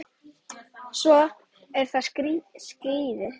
Svo eru það skíðin.